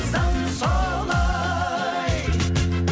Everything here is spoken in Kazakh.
заң солай